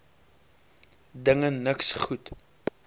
dinge niks goed